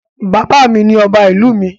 Bàbá mi ni ọba ìlú mi.